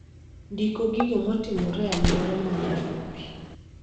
ndiko gigo matimore e alwora ma Nairobi